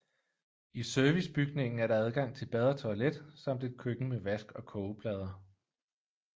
I servicebygningen er der adgang til bad og toilet samt et køkken med vask og kogeplader